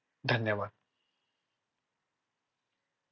धन्यवाद